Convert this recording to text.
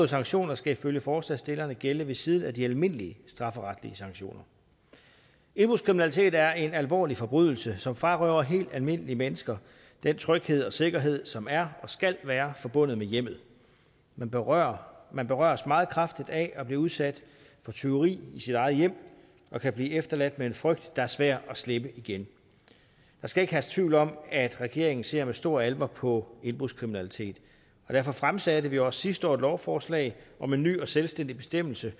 sanktioner skal ifølge forslagsstillerne gælde ved siden af de almindelige strafferetlige sanktioner indbrudskriminalitet er en alvorlig forbrydelse som frarøver helt almindelige mennesker den tryghed og sikkerhed som er og skal være forbundet med hjemmet man berøres man berøres meget kraftigt af at blive udsat for tyveri i sit eget hjem og kan blive efterladt med en frygt der er svær at slippe igen der skal ikke herske tvivl om at regeringen ser med stor alvor på indbrudskriminalitet og derfor fremsatte vi også sidste år et lovforslag om en ny og selvstændig bestemmelse